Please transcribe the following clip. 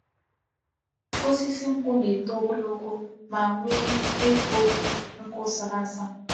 Osisi nkwu na-eto ogologo ma nwee igu nkwu sara asa.